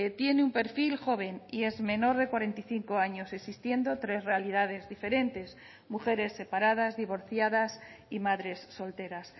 tiene un perfil joven y es menor de cuarenta y cinco años existiendo tres realidades diferentes mujeres separadas divorciadas y madres solteras